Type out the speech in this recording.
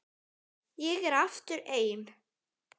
Ég er aftur ein.